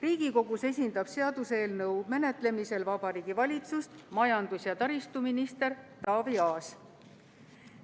Riigikogus esindab seaduseelnõu menetlemisel Vabariigi Valitsust majandus- ja taristuminister Taavi Aas.